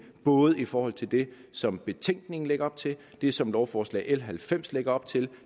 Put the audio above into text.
både i forhold til det som betænkningen lægger op til det som lovforslag l halvfems lagde op til